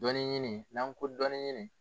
Dɔɔnin ɲini, n'an ko dɔɔnin ɲini.